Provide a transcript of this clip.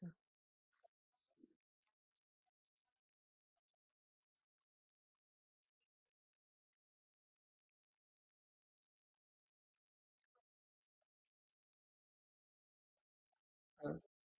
यांच्या उपर मी तुम्हाला काय मदत करु शकते? माझे तुमच Concern काय तुमच view point काय? मी काय करायला पाहिजे? असं तुम्हाला तुम्ही कशासाठी फोन केलाय? हे कळलं कि तुमचा fridge बंद झालाय cooling व्यवस्थित होत नाही.